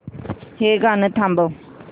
हे गाणं थांबव